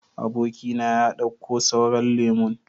Aboki na ya dauka sauran lemun.